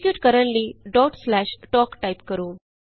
execute ਕਰਨ ਲਈ tok type ਕਰੋ